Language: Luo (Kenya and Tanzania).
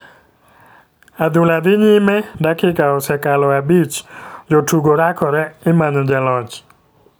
Adula dhi nyime dakika osekalo abich ,jotugo rakore, imanyo loch.